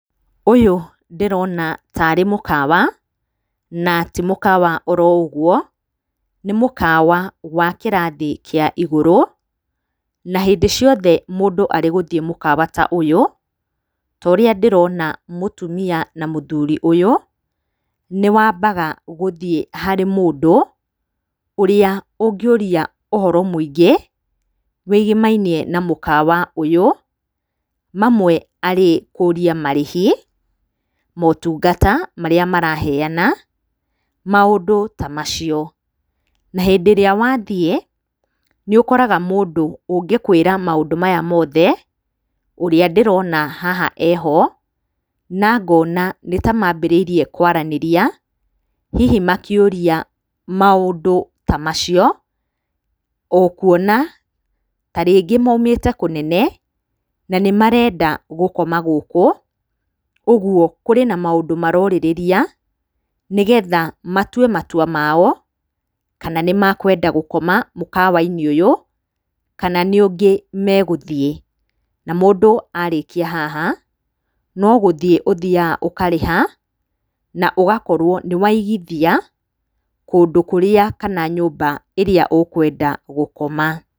Ũyũ ndĩrona tarĩ mũkawa, na ti mũkawa o ro ũguo, nĩ mũkawa wa kĩrathi kĩa igũrũ, na hĩndĩ ciothe mũndũ arĩ gũthiĩ mũkawa ta ũyũ, ta ũrĩa ndĩrona mũtumia na mũthũri ũyũ, nĩ wambaga gũthiĩ harĩ mũndũ, ũrĩa ũngĩũria ũhoro mũingĩ, wĩgĩmainie na mũkawa ũyũ, mamwe arĩ kũria marĩhi, motungata marĩa maraheana, maũndũ ta macio, na hĩndĩ ĩrĩa wathiĩ, nĩ ũkoraga mũndũ ũngĩkwria maũndũ maya mothe, ũrĩa ndĩrona haha e ho, na nona nĩ ta mambĩrĩirie kwaranĩria, hihi makĩũria maũndũ ta macio, o kuona ta rĩngĩ maumĩte kũnene, na nĩ marenda gũkoma gũkũ, ũguo kũrĩ na maũndũ marorĩrĩria, nĩgetha matue matua mao, kana nĩ makwenda gũkoma mũkawa-inĩ ũyũ, kana nĩ ũngĩ megũthiĩ. Na mũndũ arĩkia haha, no gũthiĩ ũthiaga ũkarĩha, na ũgakorwo nĩ waigithia kũndũ kũrĩa kana nyũmba ĩrĩa ũkwenda gũkoma.